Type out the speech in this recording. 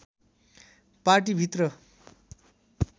पाटी भित्र